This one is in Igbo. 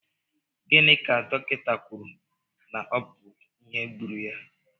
Gịnị ka dọkịta kwụrụ na ọ bu ìhè gbúrú ya?